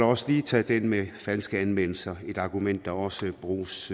også lige tage den med falske anmeldelser er et argument der også bruges